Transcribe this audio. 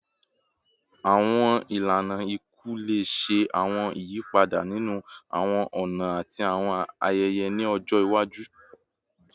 Awọn ilana iku le ṣe awọn iyipada ninu awọn ọna ati awọn ayẹyẹ ni ọjọ iwaju